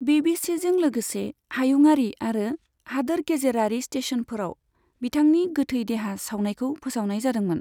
बिबिचिजों लोगोसे हायुङारि आरो हादोर गेजेरारि स्टेशनफोराव बिथांनि गोथै देहा सावनायखौ फोसावनाय जादोंमोन।